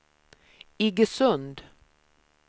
Iggesund